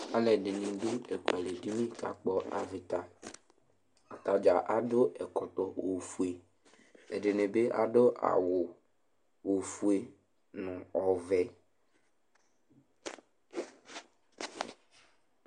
Alʋɛdìní ɖu avita ɖìŋí kakpɔ avita Atadza aɖu ɛkɔtɔ ɔfʋe Ɛɖìní bi aɖu awu ɔfʋe ŋu ɔvɛ